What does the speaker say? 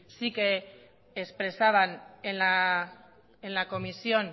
sí que expresaban en la comisión